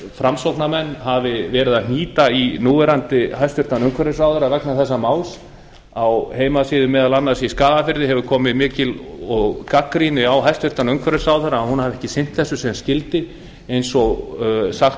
framsóknarmenn hafi verið að hnýta í hæstvirtum núverandi umhverfisráðherra vegna þessa máls á heimasíðu meðal annars í skagafirði hefur komið mikil gagnrýni á hæstvirtur umhverfisráðherra að hún hafi ekki sinnt þessu sem skyldi eins og sagt